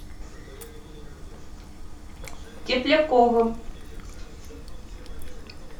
тепляковым